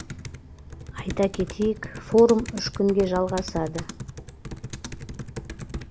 айта кетейік форум үш күнге жалғасады